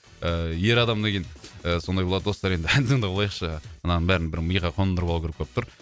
ыыы ер адам деген сондай болады достар енді ән тыңдап алайықшы мынаның бәрін бір миға қондырып алу керек болып тұр